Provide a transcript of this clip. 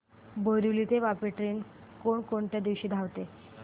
बोरिवली ते वापी ट्रेन कोण कोणत्या दिवशी धावते